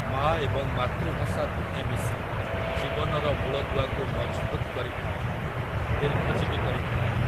ମା ଏବଂ ମାତୃଭାଷା ଦୁହେଁ ମିଶି ଜୀବନର ମୂଳଦୁଆକୁ ମଜଭୁତ୍ କରିଥାନ୍ତି, ଦୀର୍ଘଜୀବୀ କରିଥାନ୍ତି ।